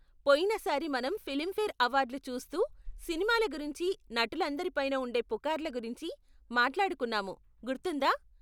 పోయిన సారి మనం ఫిలింఫేర్ అవార్డ్లు చూస్తూ సినిమాల గురించి నటులందరి పైన ఉండే పుకార్ల గురించి మాట్లాడుకున్నాము, గుర్తుందా?